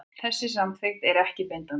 Þessi samþykkt er ekki bindandi